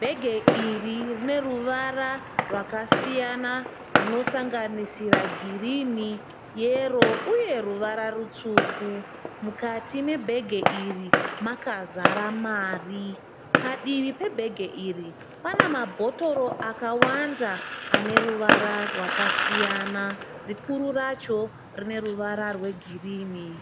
Bhege iri rine ruvara rwakasiyana runosanganisira girinhi yero uye ruvara rutsvuku. Mukati mebhege iri makazara mari. Padivi pebhege iri pane mabhotoro akawanda ane ruvara rwakasiyana ,rikuru racho rine ruvara rwegirinhi.